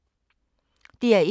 DR1